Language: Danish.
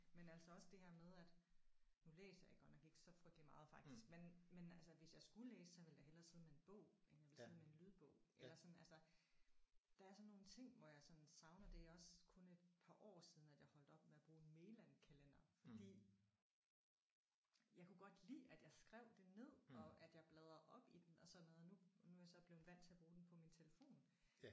Men altså også det her med at nu læser jeg godt nok ikke så frygteligt meget faktisk men men altså hvis jeg skulle læse så ville jeg da hellere sidde med en bog end jeg ville sidde med en lydbog. Eller sådan altså der er sådan nogle ting hvor jeg sådan savner. Det er også kun et par år siden at jeg holdt op med at bruge Mayland-kalendere fordi jeg kunne godt lide at jeg skrev det ned og at jeg bladrede op i den og sådan noget. Nu nu er jeg så blevet vant til at bruge den på min telefon